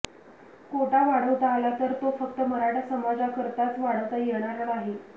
कोटा वाढवता आला तर तो फक्त मराठा समाजाकरताच वाढवता येणार नाही